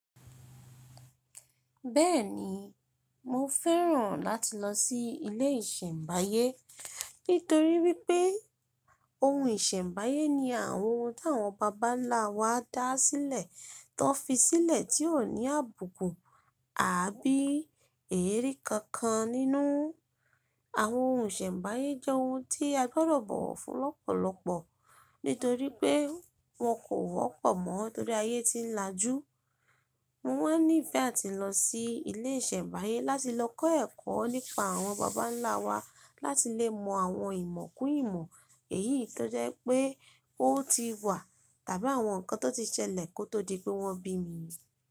Bẹ́ẹ̀ni, mo fẹ́ràn láti lọ sí ilé ìsẹ̀mbáyé nítorí wípé ohun ìsẹ̀mbáyé ní àwọn ohun tí àwọn bàbá ńlá wa dá sílẹ̀, tó fi sílẹ̀ tí ò ní àbùkù àbí èérí kankan nínú. Àwọn ohun ìsẹ̀mbáyé jẹ́ ohun tí a gbọ́dọ̀ bọ̀wọ̀ fún lọ́pọ̀lọpọ̀ nítorí pé wọn kò wọ́pọ̀ mọ́ torí ayé ti ń lajú. Mo wá ní ìfẹ́ àti lọ sí ilé ìsẹ̀mbáyé láti lọ kọ́ ẹ̀kọ́ nípa àwọn bàbá ńlá wa láti lè mọ àwọn ìmọ̀ kùn ìmọ̀ èyí tó jẹ́ pé ó ti wà tàbí àwọn nǹkan tó ti ṣẹlẹ̀ kó tó di pé wọ́n bí mi.